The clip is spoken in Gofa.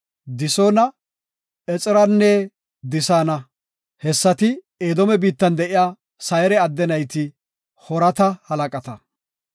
Disoona, Exeranne Disaana; hessati, Edoome biittan de7iya Sayre adde nayti, Hoorata halaqata.